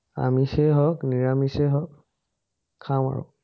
আমিষেই হক, নিৰামিষেই হক, খাম আৰু